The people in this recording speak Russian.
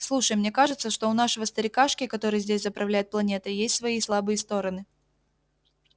слушай мне кажется что у нашего старикашки который здесь заправляет планетой есть свои слабые стороны